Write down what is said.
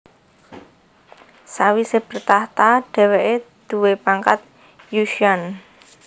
Sawise bertahta dheweke duwé pangkat Yu Qian